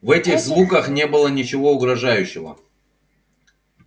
в этих звуках не было ничего угрожающего